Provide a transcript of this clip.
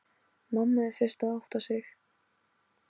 Mamma er fyrst að átta sig: